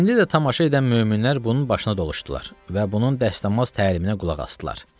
İndi də tamaşa edən möminlər bunun başına doluşdular və bunun dəstəmaz təliminə qulaq asdılar.